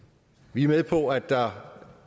vi er med på at der